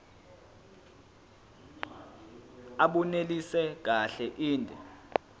abunelisi kahle inde